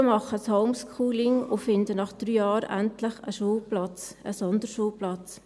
Die Eltern machen ein Homeschooling und finden nach drei Jahren endlich einen Schulplatz, einen Sonderschulplatz.